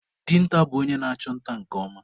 Dinta bụ onye na-achụ nta nke ọma.